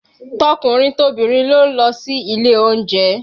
Tọkùnrin tobìnrin ló ń lọ sí ilé oúnjẹ